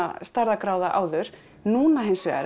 stærðargráða áður núna hins vegar